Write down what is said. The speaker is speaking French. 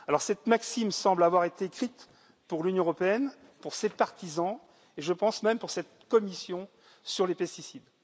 Cette maxime semble avoir été écrite pour l'Union européenne, pour ses partisans, et je pense même pour cette commission sur les pesticides.